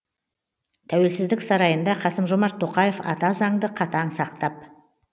тәуелсіздік сарайында қасым жомарт тоқаев ата заңды қатаң сақтап